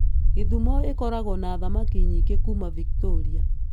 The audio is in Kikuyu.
Gĩthumo ĩkoragwo na thamaki nyingĩ kuuma Victoria.